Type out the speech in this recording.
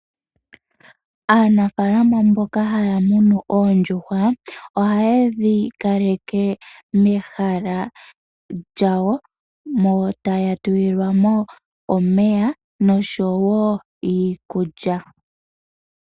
Aanafalama mboka haya munu oondjuhwa ohaye dhikaleke mehala lyawo, mo taya tulilwa mo omeya nosho wo iikulya.